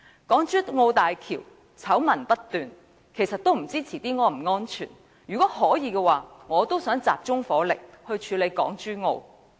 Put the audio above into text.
港珠澳大橋醜聞不斷，日後也不知道是否安全，如果可以，我亦想集中火力處理這件事。